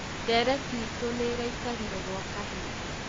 Ndereti itũ nĩraikarĩre gwa kahinda